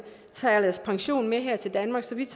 og tager deres pension med her til danmark så vidt